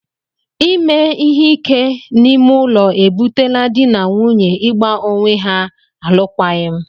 Ime ihe ike n'ime ụlọ e butela dị na nwunye ị gba onwe ha alụkwaghịm.